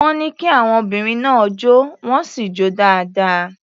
Wọ́n ní kí àwon obìnrin náà jó, wọ́n sì jó dáadáa.